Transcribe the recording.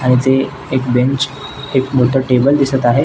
आणि ते एक बेंच एक मोठ टेबल दिसत आहे.